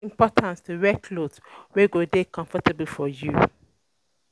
E de important to wear cloth wey go de comfortable for you